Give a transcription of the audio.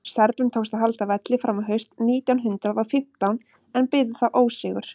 serbum tókst að halda velli fram á haust nítján hundrað og fimmtán en biðu þá ósigur